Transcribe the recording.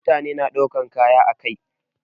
Mutane na daukan kaya ã kai.